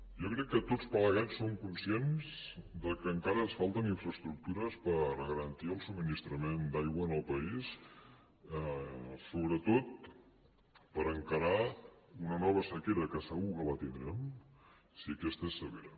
jo crec que tots plegats som conscients que encara ens falten infraestructures per garantir el subministrament d’aigua en el país sobretot per encarar una nova sequera que segur que la tindrem si aquesta és severa